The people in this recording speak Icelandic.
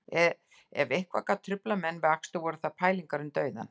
Ef eitthvað gat truflað menn við akstur voru það pælingar um dauðann